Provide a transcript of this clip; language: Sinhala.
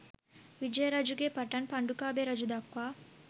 විජය රජුගේ පටන් පණ්ඩුකාභය රජු දක්වා